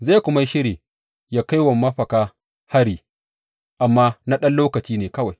Zai kuma yi shiri yă kai wa mafaka hari, amma na ɗan lokaci ne kawai.